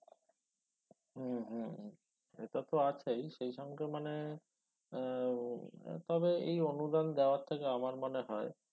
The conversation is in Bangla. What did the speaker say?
হুম হুম সেটাতো আছেই সে সঙ্গে মানে এর উম তবে এই অনুদান দেওয়ার থেকে আমার মনে হয়